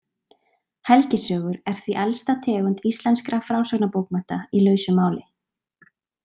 Helgisögur er því elsta tegund íslenskra frásagnarbókmennta í lausu máli.